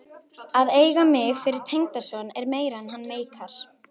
Að eiga mig fyrir tengdason er meira en hann meikar.